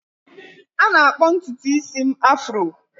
A na-akpọ ntutu isi m afro